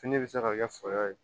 Fini bɛ se ka kɛ fula ye